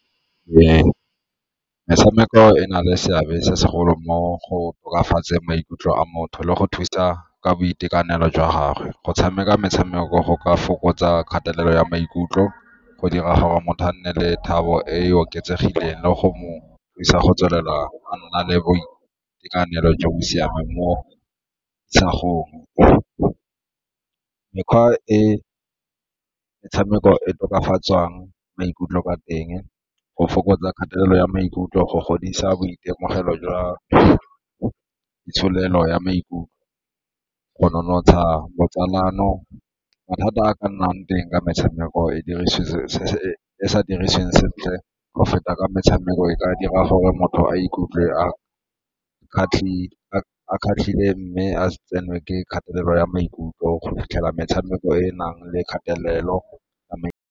Metshameko e na le seabe se segolo mo go tokafatseng maikutlo a motho le go thusa ka boitekanelo jwa gagwe. Go tshameka metshameko go ka fokotsa kgatelelo ya maikutlo, go dira gore motho a nne le e e oketsegileng le go thusa go tswelela go nna le boitekanelo jo bo siameng mo isagong. Mekgwa e metshameko e tokafatsang maikutlo ka teng go fokotsa kgatelelo ya maikutlo go godisa boitemogelo jwa itsholelo ya maikutlo, go nonotsha botsalano. Mathata a ka nnang teng ka metshameko e e sa dirisiweng sentle go feta ka metshameko e ka dira gore motho a ikutlwe a mme a tsenwe ke kgatelelo ya maikutlo go fitlhela metshameko e e nang le kgatelelo ya .